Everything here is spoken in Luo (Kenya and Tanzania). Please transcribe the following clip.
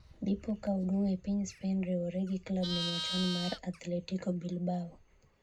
dipo ka oduogo e piny spain riwoge gi klabne machon mar athletiko bilbao